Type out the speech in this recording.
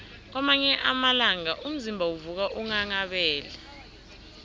kwamanye amalanga umzimba uvuka unghanghabele